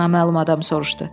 naməlum adam soruşdu.